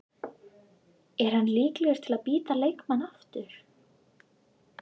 Er hann líklegur til að bíta leikmann aftur?